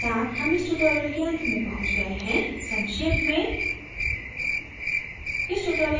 इसी के साथ हम tutorial के अंत में पहुँच गए हैं संक्षेप में